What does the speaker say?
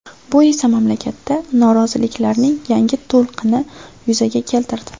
Bu esa mamlakatda noroziliklarning yangi to‘lqini yuzaga keltirdi.